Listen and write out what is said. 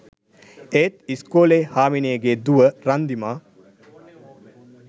එත් ඉස්කෝලෙ හාමිනේගෙ දුව රන්දිමා